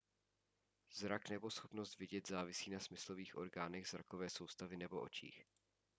zrak nebo schopnost vidět závisí na smyslových orgánech zrakové soustavy nebo očích